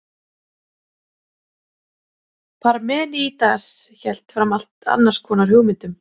Parmenídes hélt fram allt annars konar hugmyndum.